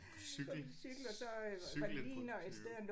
På cykel cykelindbrudstyve